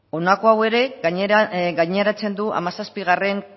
honako hau ere gaineratzen du hamazazpigarrena